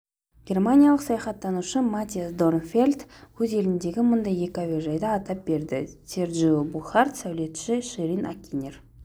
германиялық саясаттанушы маттиас дорнфельдт өз еліндегі мұндай екі әуежайды атап берді серджио буркхарт сәулетші ширин акинер